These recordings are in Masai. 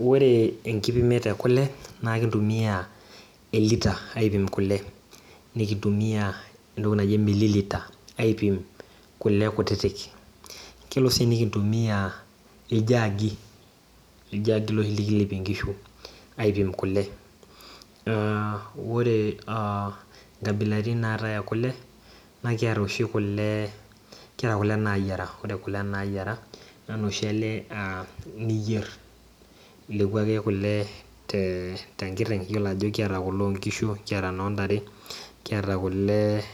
oree enipimimet ekule naa ekintumia elita aipim kule nikintumia entoki naji milliliter aipim kule kutitik kelo sii nikintumia iljaagi loshi lekilepie inkishu aipim kule oree ikaibilaitin naatae ee kule naa kiata oshi kule kiata kule nayiara ore kule nayiara naa inoshi ale niyier naa ilepu ake kule tenkiteng` iyolo ajo lkiata kule oo nkishu kiata inoo ntare kiata kule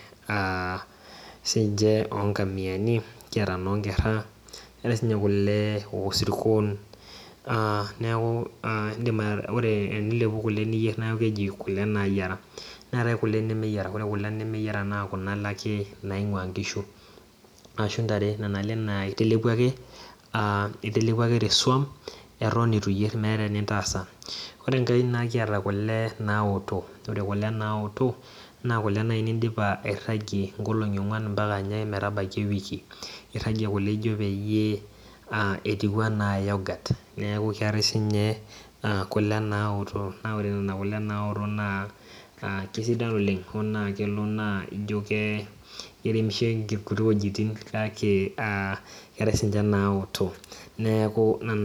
sinche oo nkomiani kata inoo nkerra neerae sinye kule oo sirkon neeku inndimu ore tenilepu kule niyierr neeku keji kule naayiara neetae kule nemeyiara ore kule nemeyiara naa kuna ale ake naingua inkishu ashuu intare nena ale naa itelepua ake itelepua ake teswam aton eitu iyier meeta entoki niintasa oree enkae naa kiata kule naaoto ore kule naoto naa kuke nayii nindipa airagie inkolong`i ongwan ampaka nye metabaiki ewiki irragie kule ijo peyiee atiu enaa yoghurt neeku keetae sinye kule naoto naa ore nena kule naoto naa kesidan oleng` oo naa kelo neku ijo keremisho inkuti wejitin kaake keetae sinche naoto neeku nena.